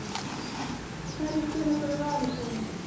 Hverjir spila fyrir Val í sumar?